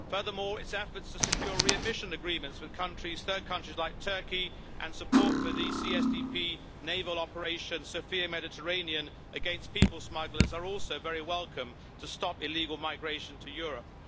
Furthermore, its efforts to secure readmission agreements with third countries like Turkey, and support for the CSDP naval Operation Sophia Mediterranean against people smugglers, are also very welcome, to stop illegal migration to Europe.